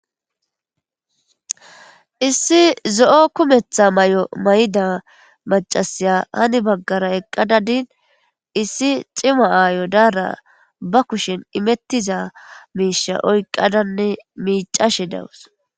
issi zo7o kumetha may7o may7da macasiya hani baggara eqqadadin issi xima aayo daara ba kushen imettiza miisha oykqadanne miicashe dawus